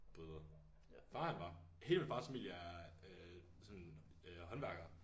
Bryder. Min far han var. Hele min fars familie er øh sådan øh håndværkere